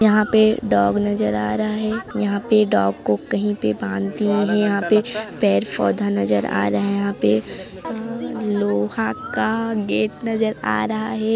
यहां पे डॉग नजर आ रहा है यहां पे डॉग को कहीं पे बांध दिया है यहां पर पेड़ पौधा नजर आ रहा है यहां पे लोहा का गेट नजर आ रहा है।